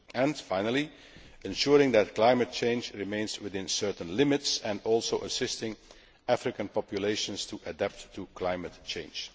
and, finally, ensuring that climate change remains within certain limits and assisting African populations to adapt to climate change.